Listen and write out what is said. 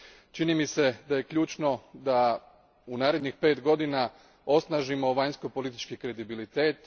Čini mi se da je ključno da u narednih pet godina osnažimo vanjskopolitički kredibilitet.